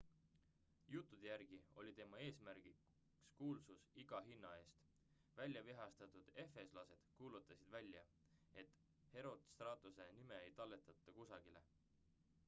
juttude järgi oli tema eesmärgiks kuulsus iga hinna eest väljavihastatud efeslased kuulutasid välja et herostratuse nime ei talletata kusagile